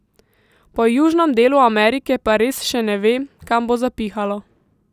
Po južnem delu Amerike pa res še ne ve, kam bo zapihalo.